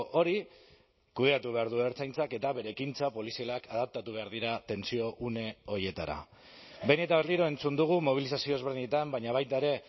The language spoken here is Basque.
hori kudeatu behar du ertzaintzak eta bere ekintza polizialak adaptatu behar dira tentsio une horietara behin eta berriro entzun dugu mobilizazio ezberdinetan baina baita ere